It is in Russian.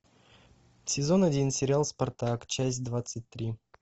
сезон один сериал спартак часть двадцать три